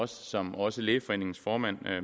som også lægeforeningens formand